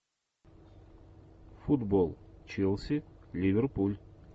футбол челси ливерпуль